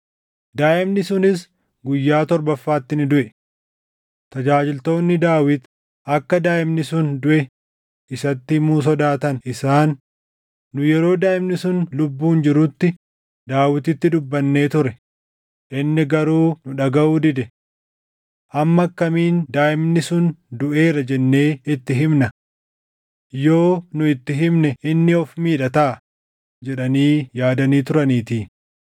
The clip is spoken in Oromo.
Daaʼimni sunis guyyaa torbaffaatti ni duʼe. Tajaajiltoonni Daawit akka daaʼimni sun duʼe isatti himuu sodaatan; isaan, “Nu yeroo daaʼimni sun lubbuun jirutti Daawititti dubbannee ture; inni garuu nu dhagaʼuu dide. Amma akkamiin daaʼimni sun duʼeera jennee itti himna? Yoo nu itti himne inni of miidha taʼa” jedhanii yaadanii turaniitii.